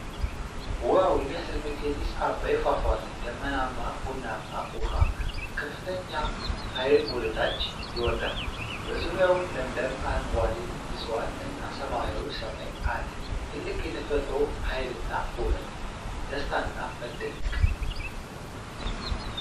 ዋው! የሚያስደንቅ የጢስ አባይ ፏፏቴ! ደመናማ ቡናማ ውሃ በከፍተኛ ኃይል ወደ ታች ይወርዳል። በዙሪያው ለምለም አረንጓዴ ዕፅዋት እና ሰማያዊ ሰማይ አለ። ትልቅ የተፈጥሮ ኃይልና ውበት። ደስታና መደነቅ!!።